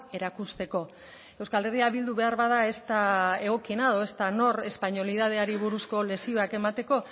erakusteko euskal herria bildu beharbada ez da egokiena edo ez da nor espainolidadeari buruzko lezioak emateko